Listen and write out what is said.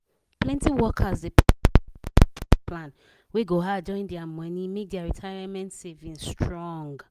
plenty workers dey plan wey go add join their money make their retirement savings strong.